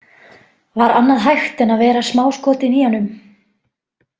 Var annað hægt en að vera smáskotin í honum?